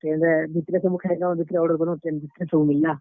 Train ରେ ଭିତ୍ ରେ ସବୁ ଖେଲୁଁ ଆଉ ଭିତ୍ ରେ order କଲୁଁ train ଭିତ୍ ରେ ସବୁ ମିଲ୍ ଲା।